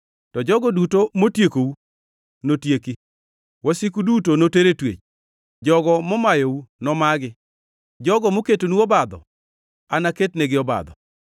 “ ‘To jogo duto motiekou notieki; wasiku duto noter e twech. Jogo momayou nomagi; jogo moketonu obadho anaketnegi obadho.